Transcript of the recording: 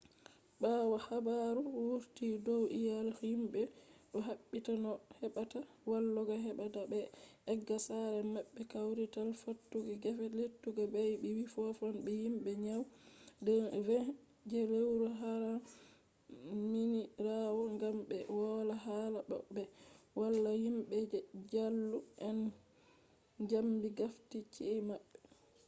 ɓawo habaru wurti dow iyalu himɓe ɗo ɗaɓɓita no ɓe heɓata walloɓe heɓa ta ɓe egga sare maɓɓe kwarital fattude gefe lettugal bey wi fottan be himɓe nyande 20 je lewru haram minirawo gam ɓe wola hala no ɓe walla be himɓe je jaalu en zambi gafti chi’e maɓɓe